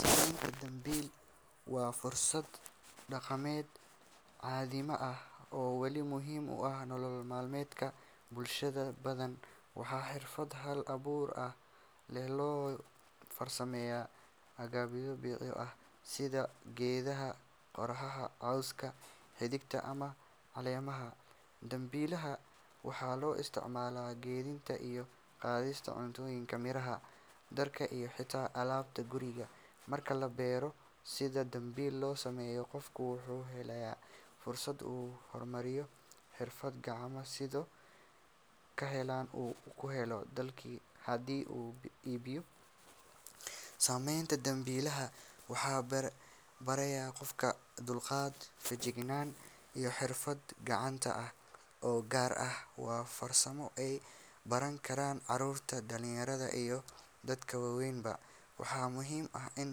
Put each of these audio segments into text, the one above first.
Samaynta dambiil waa farsamo dhaqameed qadiimi ah oo weli muhiim u ah nolol maalmeedka bulshooyin badan. Waa xirfad hal abuur leh oo lagu farsameeyo agabyo dabiici ah sida geedaha qorfaha, cawska, xididka, ama caleemaha. Dambiilaha waxaa loo isticmaalaa kaydinta iyo qaadista cuntooyinka, miraha, dharka, iyo xitaa alaabta guriga. Marka la barto sida dambiil loo sameeyo, qofku wuxuu helayaa fursad uu ku horumariyo xirfad gacmeed, sidoo kalena uu ka helayo dakhli haddii uu iibiyo. Samaynta dambiilaha waxay baraysaa qofka dulqaad, feejignaan, iyo xirfad gacanta ah oo gaar ah. Waa farsamo ay baran karaan carruurta, dhallinyarada, iyo dadka waaweynba. Waxaa muhiim ah in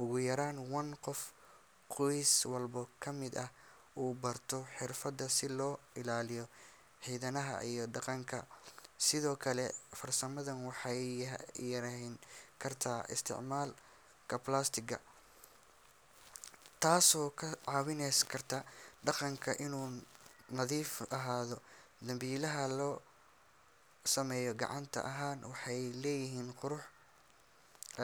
ugu yaraan one qof qoys walba ka mid ah uu barto xirfaddan si loo ilaaliyo hiddaha iyo dhaqanka. Sidoo kale, farsamadan waxay yareyn kartaa isticmaalka plastic taasoo ka caawin karta deegaanka inuu nadiif.